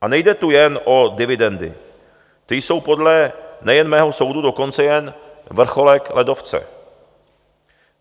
A nejde tu jen o dividendy, které jsou podle nejen mého soudu dokonce jen vrcholek ledovce.